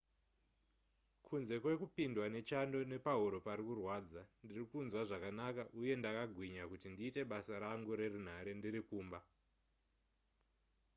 kunze kwekupindwa nechando nepahuro parikurwadza ndirikunzwa zvakanaka uye ndakagwinya kuti ndiite basa rangu nerunhare ndiri kumba